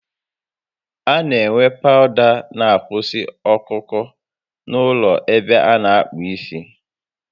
A na enwe pawụda n'akwụsi ọkụ ọkụ n'ụlọ ebe a na akpụ isi